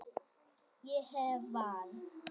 Ég hef val.